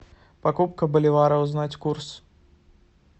покупка боливара узнать курс